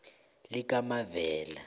likamavela